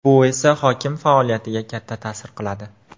Bu esa hokim faoliyatiga katta ta’sir qiladi.